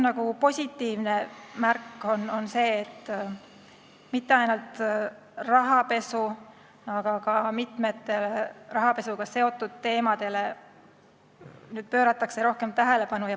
Aga positiivne märk on see, et mitte ainult rahapesule, vaid ka mitmetele rahapesuga seotud teemadele pööratakse nüüd rohkem tähelepanu.